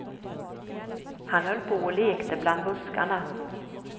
Han höll på och lekte bland buskarna.